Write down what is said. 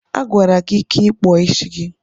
A gwara gị ka ị kpụọ isi gị.